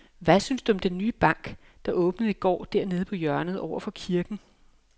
Hvad synes du om den nye bank, der åbnede i går dernede på hjørnet over for kirken?